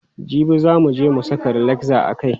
Jibi za muje mu saka relaxer a kai.